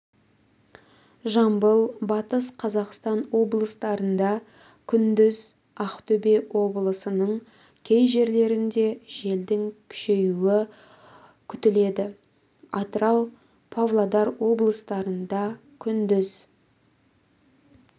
жамбыл батыс қазақстан облыстарында күндіз ақтөбе облысының кей жерлерінде желдің күшеюі күтіледі атырау павлодар облыстарында күндіз